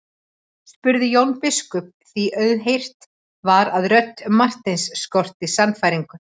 spurði Jón biskup því auðheyrt var að rödd Marteins skorti sannfæringu.